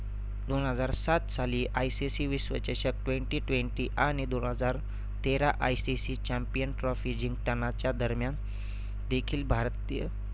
दोन हजार सात साली ICC विश्व चषक twenty-twenty आणि दोन हजार तेरा ICC champion trophy जिंकतानाच्या दरम्यान देखील भारतीय